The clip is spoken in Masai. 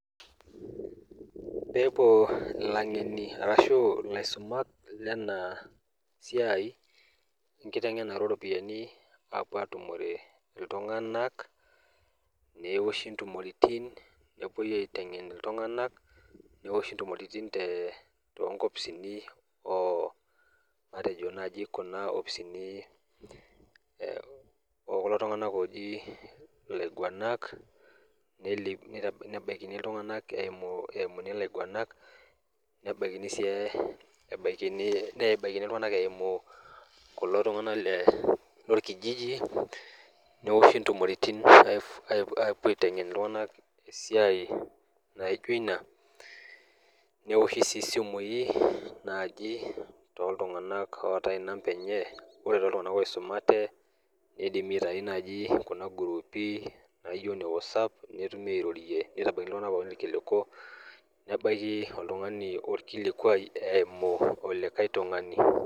Pepuo ilangeni arashu ilaisumak lenasiai enkitengenare oropiyiani , apuo atumore iltunganak , neoshi ntumoritin ,nepuoi aitengen iltunganak , neoshi ntumoritin toonkopisini oo matejo naji kuna opisini ekulo tunganak oji ilaiguanak , neli, nitabaikini iltunganak eimu , eimuni ilainguanak , nebaiki sii e , nebaiki iltunganak eimu , kulo tunganak le lorkijiji , neoshi ntumoritin apuo aitengen iltunganak esiai naijo ina , neoshi sii isimui naji toltunganak ootae inamba enye, ore toltunganak oisumate , nidimi aitayu naji kuna grupi naijo inewhatsapp ,netumi airorie nitabaiki iltunganak pookin irkiliku , nebaiki oltungani orkilikwai eimu likae tungani.